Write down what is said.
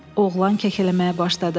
oğlan kəkələməyə başladı.